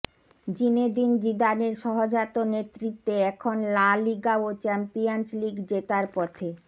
Zinedine জিদানের সহজাত নেতৃত্বে এখন লা লিগা ও চ্যাম্পিয়নস লিগ জেতার পথে